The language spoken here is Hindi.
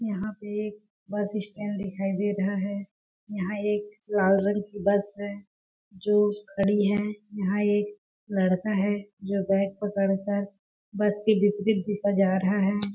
यहाँ पे एक बस स्टैंड दिखाई दे रहा है यहाँ एक लाल रंग की बस है जो खड़ी है यहाँ एक लड़का है जो बैग पकड़ कर बस के विपरीत दिशा जा रहा हैं ।